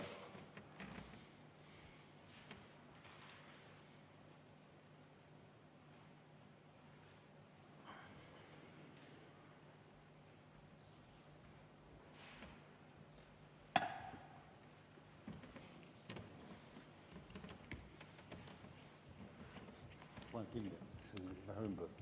Aitäh!